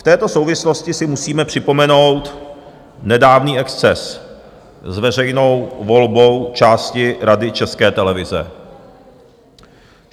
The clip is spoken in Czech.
V této souvislosti si musíme připomenout nedávný exces s veřejnou volbou části Rady České televize.